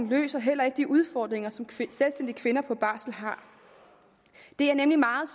løser heller ikke de udfordringer som selvstændige kvinder på barsel har det er nemlig meget